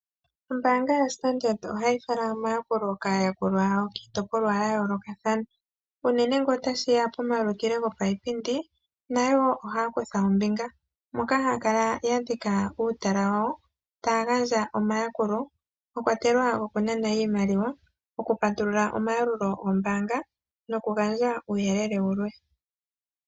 Ombaanga yoStandard ohayi fala omayakulo gawo kaayakulwa yawo kiitopolwa yayoolokathana. Unene ngele otashi ya pomauliko gopaipindi nayo woo ohaa kutha ombinga, moka haya kala ya dhika uutala wawo taya gandja omayakulo mwa kwatelwa okunana iimaliwa ,okupatulula omayalulo gombaanga nokugandja uuyelele wulwe.